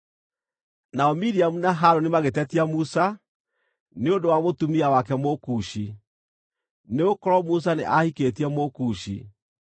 Nao Miriamu na Harũni magĩtetia Musa, nĩ ũndũ wa mũtumia wake Mũkushi, nĩgũkorwo Musa nĩ ahikĩtie Mũkushi.